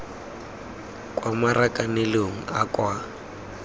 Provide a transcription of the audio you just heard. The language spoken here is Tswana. kwa marakanelong a a kwa